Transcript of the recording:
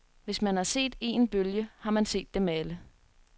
Hvis man har set een bølge, har man set dem alle.